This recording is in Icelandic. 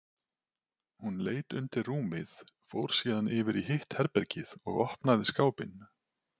Hún leit undir rúmið, fór síðan yfir í hitt herbergið og opnaði skápinn.